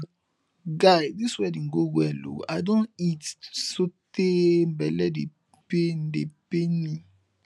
guy dis wedding go well ooo i don eat so tey bele dey pain dey pain me